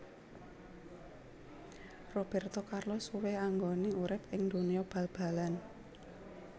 Roberto Carlos suwe anggone urip ing donya bal balan